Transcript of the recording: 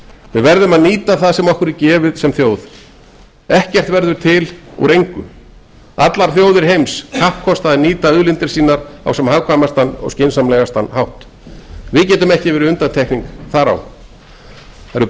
við verðum að nýta það sem okkur sem þjóð er gefið ekkert verður til úr engu allir þjóðir heims kappkosta að nýta auðlindir sínar á sem hagkvæmastan og skynsamlegastan hátt við getum ekki verið undantekning þar á það eru